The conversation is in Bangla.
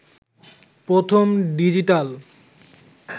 প্রথম ডিজিটাল